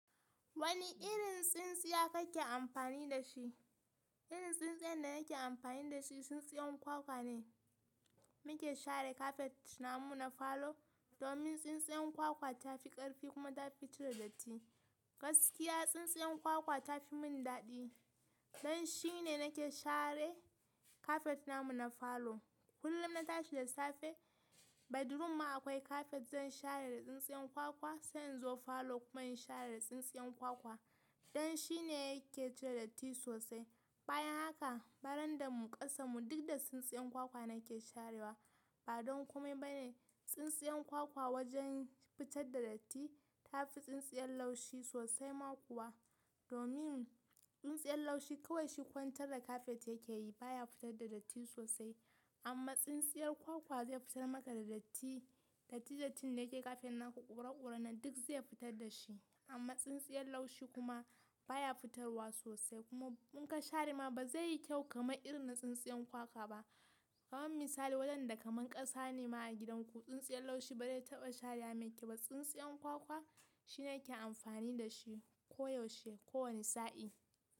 Wani irin tsintsiya kake amfani da shi? Irin tsintsiyar da nake amfani da shi tsintsiyar kwakwa ne. Mu ke share kafet namu na falo domin tsintsiyar kwakwa ta fi ƙarfi kuma ta fi cire datti. Gaskiya tsintsiyar kwakwa ta fi mun daɗi. Don shi ne nake share kafet namu na falo. Kullum na tashi da safe, bedroom ma akwai kafet zan share da tsintsiyar kwakwa, sai in zo falo kuma in share da tsintsiyar kwakwa. Don shi ne yake cire datti sosai. Bayan haka, barandan mu, ƙasan mu duk da tsintsiyar kwakwa nake sharewa. Ba don kome ba ne. Tsintsiyar kwakwa wajen fitar da datti ta fi tsintsiyar laushi sosai ma kuwa. Domin tsintsiyar laushi kawai shi kwantar da kafet yake yi baya fitar da datti sosai. Amma tsintsiyar kwakwa zai fitar maka da datti. Datti dattin da yake kafet naku ƙura ƙura nan duk zai fitar da shi. Amma tsintsiyar laushi kuma baya fitarwa sosai kuma in ka share ma ba zai yi kyau kamar irin na tsintsiyar kwakwa ba. Kaman misali wadanda kaman ƙasa ne ma a gidanku, tsintsiyar laushi ba zai taɓa share mai kyau ba. Tsintsiyar kwakwa shi nake amfani da shi koyaushe, kowane sa'i.